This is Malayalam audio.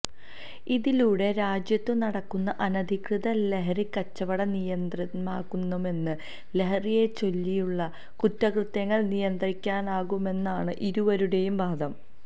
ഇതിലൂടെ രാജ്യത്തു നടക്കുന്ന അനധികൃത ലഹരി കച്ചവടം നിയന്ത്രിക്കാനാകുമെന്നും ലഹരിയെച്ചൊല്ലിയുള്ള കുറ്റകൃത്യങ്ങൾ നിയന്ത്രിക്കാനാകുമെന്നുമാണ് ഇരുവരുടേയും വാദം